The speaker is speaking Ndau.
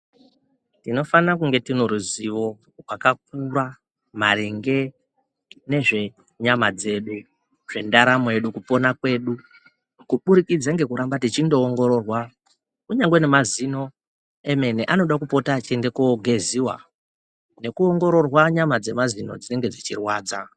Tinofana kunge tine ruzivo rwakakura maringe nezvenyama dzedu, zvendaramo yedu, kupona kwedu kuburikidza nekuramba techindoongororwa kunyangwe nemazino emene anoda kupota achiende koogeziwa nekuongororwa nyama dzemazino dzinenge dzechirwadza.